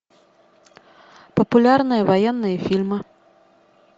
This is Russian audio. популярные военные фильмы